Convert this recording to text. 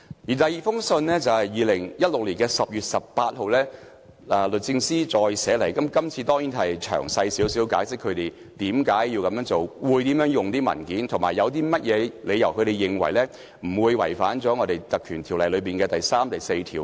律政司在2016年10月18日第二次致函立法會秘書處，較詳細解釋為何要這樣做、會怎樣使用文件，以及他們有何理據認為這樣做不會違反《條例》第3及4條。